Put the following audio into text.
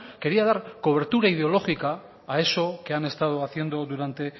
quería dar cobertura ideológica a eso que han estado haciendo durante